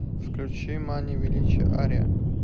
включи мания величия ария